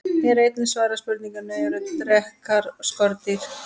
Hér er einnig svarað spurningunni: Eru drekar skordýr?